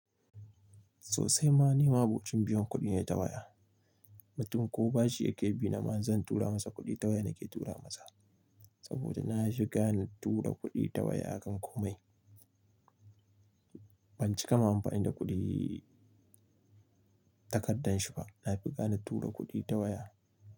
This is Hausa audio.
Sosai ma, ni ma'abocin biyan kuɗi ne ta waya. Mutum ko bashi yake bi ni ma zan tura masa kuɗi ta waya nake tura masa. Saboda nafi gane tura kuɗi ta waya a kan komai. Ban cika ma amfani da kuɗi takardar shi ba, na fi gane tura kuɗi ta waya.